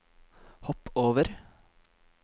hopp over